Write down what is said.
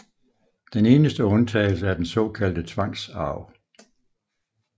Den eneste undtagelse er den såkaldte tvangsarv